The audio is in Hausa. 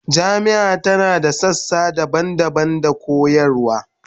Jami'ar tana da sassa daban-daban da koyarwa